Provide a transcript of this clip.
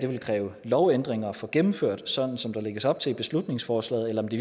vil kræve lovændringer at få gennemført sådan som der lægges op til i beslutningsforslaget eller om det